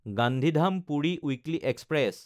গান্ধীধাম–পুৰি weekly express